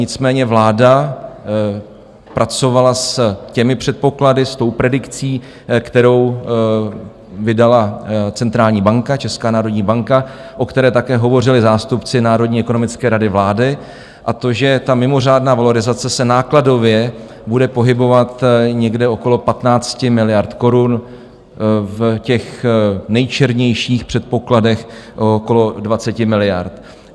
Nicméně vláda pracovala s těmi předpoklady, s tou predikcí, kterou vydala centrální banka - Česká národní banka, o které také hovořili zástupci Národní ekonomické rady vlády, a to že ta mimořádná valorizace se nákladově bude pohybovat někde okolo 15 miliard korun, v těch nejčernějších předpokladech okolo 20 miliard.